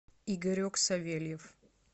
игорек савельев